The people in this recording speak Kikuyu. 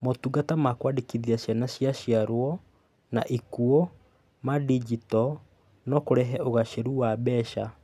Motungata ma kũandĩkithia ciana cia ciarwo na ikuo ma ndinjito no kũrehe ũgaacĩru wa mbeca.